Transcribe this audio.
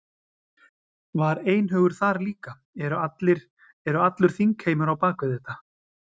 Var einhugur þar líka, eru allir, eru allur þingheimur á á bak við þetta?